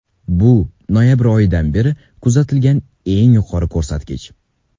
Bu noyabr oyidan beri kuzatilgan eng yuqori ko‘rsatkich.